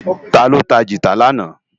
Táló tá gitá làná?